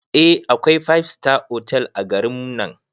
Eh akwai five star otal a garin nan